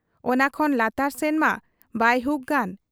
ᱚᱱᱟ ᱠᱷᱚᱱ ᱞᱟᱛᱟᱨ ᱥᱮᱱ ᱢᱟ ᱵᱟᱭ ᱦᱩᱠ ᱜᱟᱱ ᱾